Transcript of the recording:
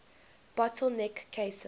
bottle neck cases